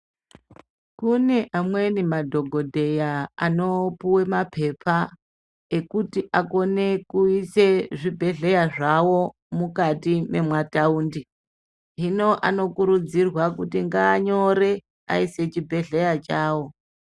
Kune amweni madhokodheya anopuwe mapepa ekuti akone kuise zvibhedhlera zvawo mukati mema taundi hino anokurudzirwa kuti nganyore aisa chibhedhlera chawo.